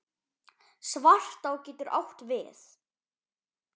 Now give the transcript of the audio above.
Svartá getur átt við